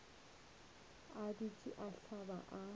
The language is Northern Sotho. a dutše a hlaba a